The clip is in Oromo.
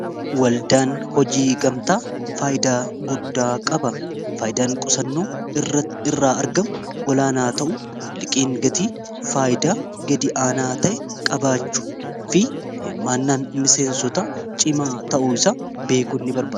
waldaan hojii gamtaa faayidaa guddaa qaba faayidaan qusannoo ia irraa argamu olaanaa ta'u liqiin gatii faayidaa gadi aanaa ta'e qabaachuu fi himaannaan miseensota cimaa ta'u isa beekuu ini barabaa